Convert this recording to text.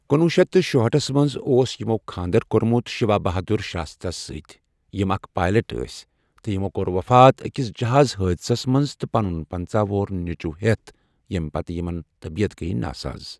کنوہہ شتھ شُہٲٹھس منٛز اوس یِمو خانٛدر کوٚرمُت شِیوا بہادُر شراستھا ہَس سٕتی، یِم اَکھ پایلاٹ ٲسی تٕہ یِمو کوٚر وفات أکس جہاز حٲدسس مٕنٛز تٕہ پنن پنٛژاہ وُہر نیٚچو ہٮ۪تھ، ییٚمہ پتہٕ یمن گٔیہ طبیعت ناساز.